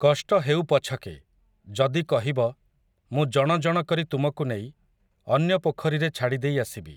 କଷ୍ଟ ହେଉ ପଛକେ, ଯଦି କହିବ, ମୁଁ ଜଣ ଜଣ କରି ତୁମକୁ ନେଇ, ଅନ୍ୟ ପୋଖରୀରେ ଛାଡ଼ିଦେଇ ଆସିବି ।